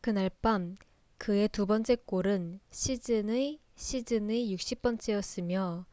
그날 밤 그의 두 번째 골은 시즌의 시즌의 60번째였으며